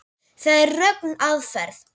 Það er röng aðferð.